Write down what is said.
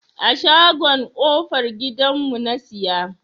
A shagon kofar gidan mu na siya.